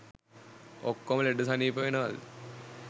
ඔක්කෝම ලෙඩ සනීප වෙනවද